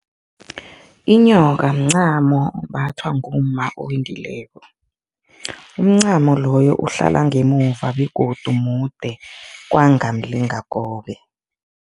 Inyoka mncamo ombathwa ngumma owendileko. Umncamo loyo uhlala ngemuva begodu mude kwanga mlingakobe.